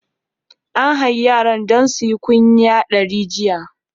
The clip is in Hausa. An hayi yaran don suyi kunya dari jiya.